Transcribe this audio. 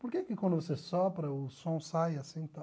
Por que que quando você sopra o som sai assim e tal?